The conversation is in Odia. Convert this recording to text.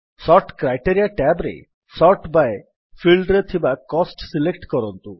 ସୋର୍ଟ କ୍ରାଇଟେରିଆ ଟ୍ୟାବ୍ ରେ ସୋର୍ଟ ବାଇ ଫିଲ୍ଡରେ ଥିବା କୋଷ୍ଟ ସିଲେକ୍ଟ କରନ୍ତୁ